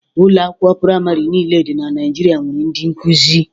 Ụlọ akwụkwọ praịmarị niile dị na Naịjirịa nwere ndị nkuzi.